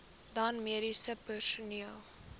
dan mediese personeel